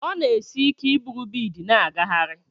Ọ na-esi ike iburu biidi n'agagharị.